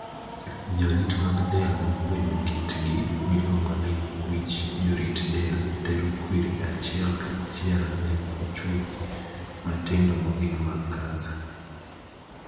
Jorit mag del mogwenyo kitgi, miluongo ni 'kwich jorit del' tero kwiri achiel ka chiel ne chuech matindo mogik mag kansa.